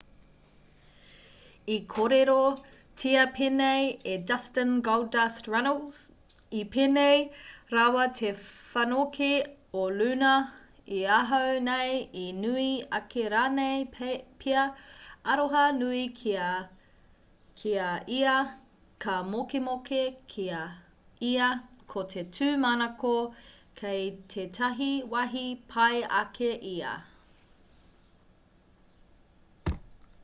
i kōrerotia pēnei e dustin goldust runnels i pēnei rawa te whanokē o luna i ahau nei...i nui ake rānei pea...aroha nui ki a ia ka mokemoke ki a ia...ko te tūmanako kei tētahi wāhi pai ake ia.